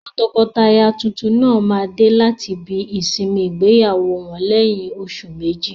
Àwọn tọkọtaya tuntun náà máa dé láti ibi ìsinmi ìgbéyàwó wọn lẹ́yìn oṣù méjì.